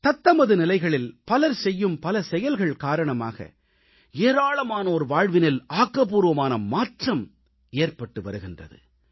தத்தமது நிலைகளில் பலர் செய்யும் பல செயல்கள் காரணமாக ஏராளமானோர் வாழ்வினில் ஆக்கப்பூர்வமான மாற்றம் ஏற்பட்டு வருகின்றது